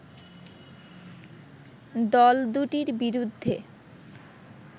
দলদুটির বিরুদ্ধে